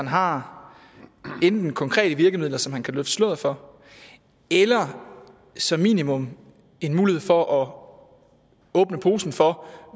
har konkrete virkemidler som han kan løfte sløret for eller som minimum en mulighed for at åbne posen for